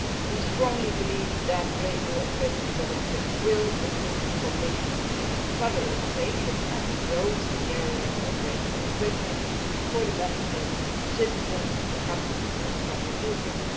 We strongly believe that the Radio Equipment Directive will improve the conditions for further innovation and growth in the area of radio equipment for the benefit of citizens, companies and public users.